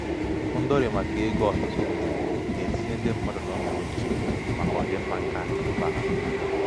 ndọlị maka um ego ọtụtụ mgbe um na-etinye na-etinye ndị mmadụ n'ọnọdụ nchegbu maka ọdịmma keakụnaụba ha.